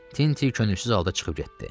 Tinti könülsüz halda çıxıb getdi.